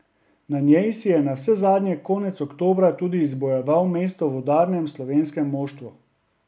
Na njej si je navsezadnje konec oktobra tudi izbojeval mesto v udarnem slovenskem moštvu.